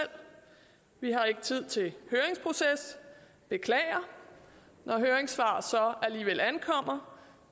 vi har ikke tid til høringsproces beklager når høringssvar så alligevel ankommer